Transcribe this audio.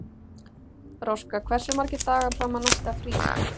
Róska, hversu margir dagar fram að næsta fríi?